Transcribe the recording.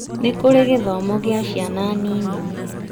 Nĩkũrĩ gĩthomo gĩa ciana nini